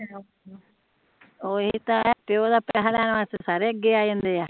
ਓਹੀ ਤਾ ਹੈ ਪਿਓ ਦਾ ਪੈਸਾ ਲੈਣ ਵਾਸਤੇ ਸਾਰੇ ਅੱਗੇ ਆ ਜਾਂਦੇ ਆ